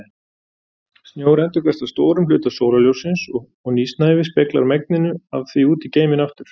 Snjór endurkastar stórum hluta sólarljóssins og nýsnævi speglar megninu af því út í geiminn aftur.